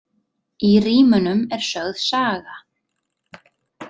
Í rímunum er sögð saga.